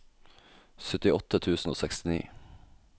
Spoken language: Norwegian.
syttiåtte tusen og sekstini